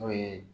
N'o ye